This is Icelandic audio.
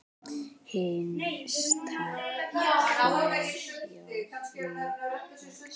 Hinsta kveðja Jón Axel.